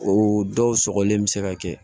O dɔw sɔgɔlen bɛ se ka kɛ